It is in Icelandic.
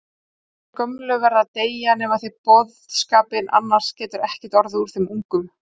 Þeir gömlu verða að deyja, nemið þið boðskapinn, annars getur ekkert orðið úr þeim ungu